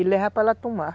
e leva para ela tomar.